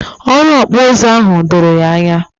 Ọrụ Okpu uzu ahụ doro ya ányá